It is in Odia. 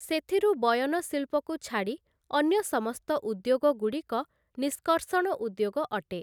ସେଥିରୁ ବୟନ ଶିଳ୍ପକୁ ଛାଡ଼ି ଅନ୍ୟ ସମସ୍ତ ଉଦ୍ୟୋଗଗୁଡ଼ିକ ନିଷ୍କର୍ସଣ ଉଦ୍ୟୋଗ ଅଟେ ।